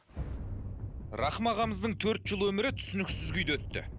рахым ағамыздың төрт жыл өмірі түсініксіз күйде өтті